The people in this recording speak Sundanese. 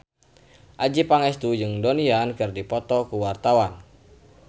Adjie Pangestu jeung Donnie Yan keur dipoto ku wartawan